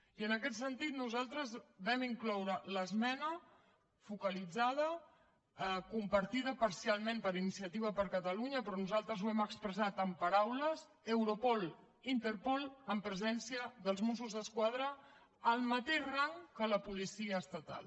i en aquest sentit nosaltres vam incloure l’esmena focalitzada compartida parcialment per iniciativa per catalunya però nosaltres ho hem expressat en paraules europol interpol amb presència dels mossos d’esquadra al mateix rang que la policia estatal